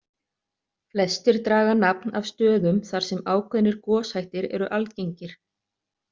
Flestir draga nafn af stöðum þar sem ákveðnir goshættir eru algengir.